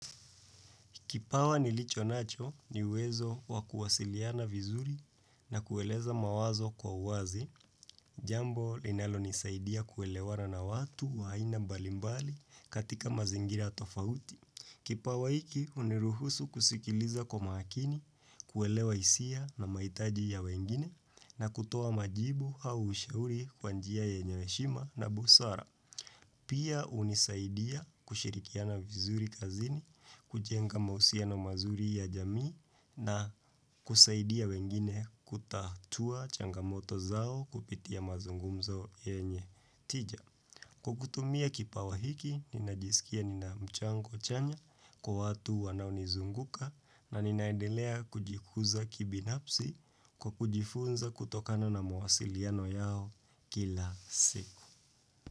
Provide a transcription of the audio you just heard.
Kipawa nilicho nacho ni uwezo wakuwasiliana vizuri na kueleza mawazo kwa uwazi, jambo linalo nisaidia kuelewana na watu wa aina mbalimbali katika mazingira tofauti. Kipawa hiki huniruhusu kusikiliza kwa makini, kuelewa hisia na mahitaji ya wengine na kutoa majibu au ushauri kwa njia yenye heshima na busara. Pia hunisaidia kushirikiana vizuri kazini, kujenga mahusiano mazuri ya jamii na kusaidia wengine kutatua changamoto zao kupitia mazungumzo yenye tija. Kwa kutumia kipawa hiki, ninajisikia ninamchango chanya kwa watu wanaunizunguka na ninaendelea kujikuza kibinafsi kwa kujifunza kutokana na mawasiliano yao kila siku.